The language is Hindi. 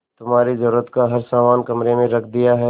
तुम्हारे जरूरत का हर समान कमरे में रख दिया है